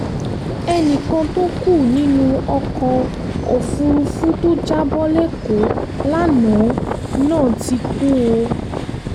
ẹnì kan tó kú nínú ọkọ̀-òfúrufú tó jábọ́ lẹ́kọ̀ọ́ lánàá náà ti kú o